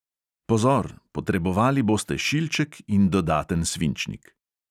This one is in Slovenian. Pozor: potrebovali boste šilček in dodaten svinčnik.